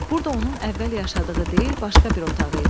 Burda onun əvvəl yaşadığı deyil, başqa bir otağı idi.